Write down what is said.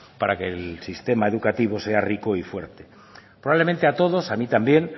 para que el sistema educativo sea rico y fuerte probablemente a todos a mí también